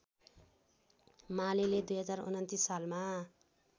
मालेले २०२९ सालमा